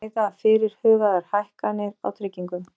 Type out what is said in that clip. Ræða fyrirhugaðar hækkanir á tryggingum